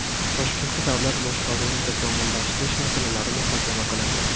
Toshkentda davlat boshqaruvini takomillashtirish masalalari muhokama qilindi.